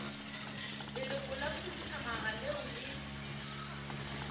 leloko la khuduthamaga leo le